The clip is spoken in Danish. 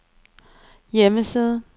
hjemmeside